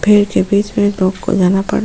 भीड़ के बिच में लोग को जाना पडा --